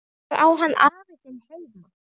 Hvar á hann afi þinn heima?